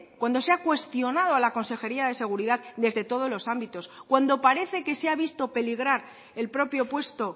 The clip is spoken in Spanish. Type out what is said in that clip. cuando sea cuestionado a la consejería de seguridad desde todos los ámbitos cuando parece que se ha visto peligrar el propio puesto